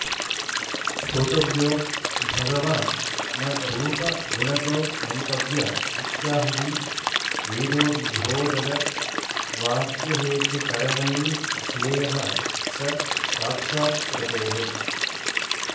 श्रोतव्यो भगवान् न रूपगुणतो मन्तव्य इत्याह हि वेदोद्बोधदवाक्यहेतुकरणैर्ध्येयः स साक्षात्कृतेः